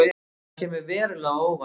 Það kemur verulega á óvart